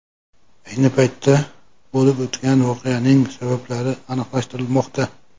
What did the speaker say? Ayni paytda bo‘lib o‘tgan voqeaning sabablari aniqlashtirilmoqda.